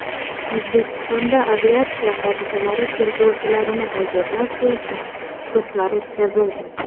O‘zbekistonda aviatsiya hodisalari tergovchilarini tayyorlash bo‘yicha kurslar o‘tkazildi.